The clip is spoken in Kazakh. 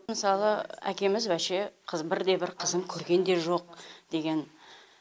мысалы әкеміз вообще бірде бір қызын көрген де жоқ деген